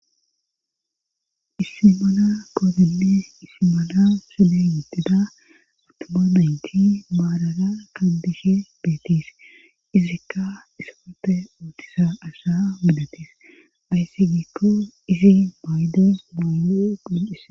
Issi mana kootinne isimana sode yittida utuma maynti maaraga kandishe beetiis izikka isponte uutisa asha midatiis ayssi giikko izi mayde maydo qhincis.